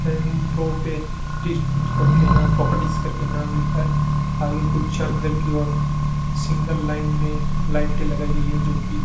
improper test करके ना properties करके नाम लिखा है आगे कुछ अंदर की ओर सिंगल लाइन में लाइटे लगाई गई है जो की --